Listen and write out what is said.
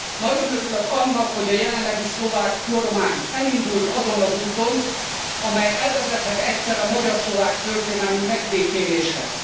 Nagyon örülök annak, hogy a jelenlegi szlovák kormány elindult azon az úton, amely elvezethet egyszer a magyar szlovák történelmi megbékéléshez.